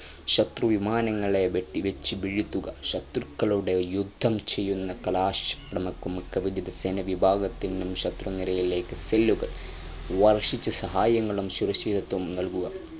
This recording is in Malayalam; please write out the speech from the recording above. ശത്രുവിമാനങ്ങളെ വെടിവെച്ചു വീഴ്ത്തുക ശത്രുക്കളോടു യുദ്ധം ചെയ്യുന്ന കലാശപടകും കവചിത സേന വിഭാഗത്തിനും ശത്രുനിരയിലേക്ക് cell കൾ വർഷിച്ചു സഹായങ്ങളും ശൂരക്ഷിതത്വവും നൽകുക